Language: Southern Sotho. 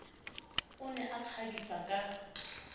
o ne a ikgabisa ka